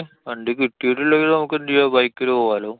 വണ്ടി കിട്ടിട്ടില്ലെങ്കില് നമുക്കെന്തു ചെയ്യാം, bike ന് പോവാലോ?